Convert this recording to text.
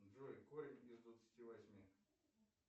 джой корень из двадцати восьми